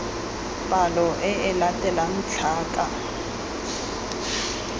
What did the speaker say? palo e e latelang tlhaka